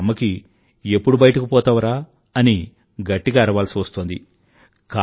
ఇప్పుడు అమ్మకి ఎప్పుడు బయటకు పోతావురా అని గట్టిగా అరవాల్సి వస్తోంది